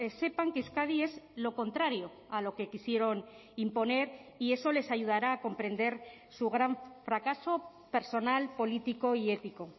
sepan que euskadi es lo contrario a lo que quisieron imponer y eso les ayudará a comprender su gran fracaso personal político y ético